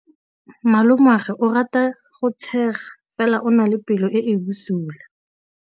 Malomagwe o rata go tshega fela o na le pelo e e bosula.